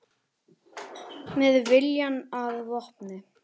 Með viljann að vopni